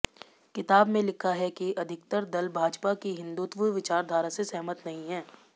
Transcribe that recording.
किताब में लिखा है कि अधिकतर दल भाजपा की हिंदुत्व विचारधारा से सहमत नहीं हैं